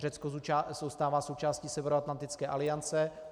Řecko zůstává součástí Severoatlantické aliance.